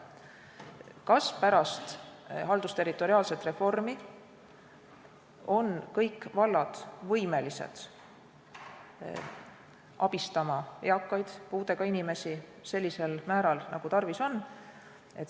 Kas pärast haldusterritoriaalset reformi on kõik vallad võimelised abistama eakaid puudega inimesi sellisel määral, nagu tarvis?